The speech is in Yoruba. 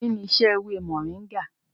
Kí ni isẹ́ ewé mọ̀nríngà?